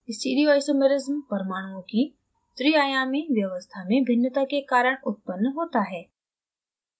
stereoisomersism परमाणुओं की त्रिआयामी व्यवस्था spatial arrangement में भिन्नता के कारण उत्पन्न होता है